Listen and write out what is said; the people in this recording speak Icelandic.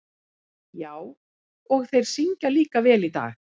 Já, og þeir syngja líka vel í dag.